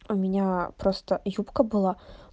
у меня просто юбка была